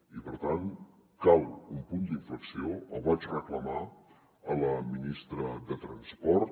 i per tant cal un punt d’inflexió el vaig reclamar a la ministra de transport